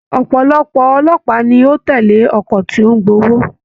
Ọpọlọpọ olópàá ni o tẹle ọkọ tí o n gb'owó.